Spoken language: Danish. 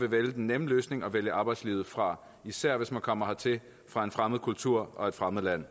vil vælge den nemme løsning og vælge arbejdslivet fra især hvis man kommer hertil fra en fremmed kultur og et fremmed land